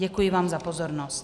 Děkuji vám za pozornost.